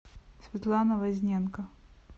светлана возненко